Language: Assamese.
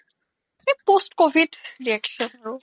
এহ post covid reaction আৰু